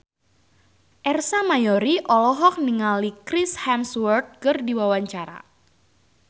Ersa Mayori olohok ningali Chris Hemsworth keur diwawancara